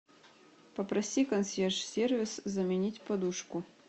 попроси консьерж сервис заменить подушку